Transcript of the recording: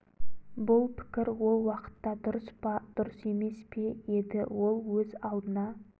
бұл пікір ол уақытта дұрыс па дұрыс емес пе еді ол өз алдына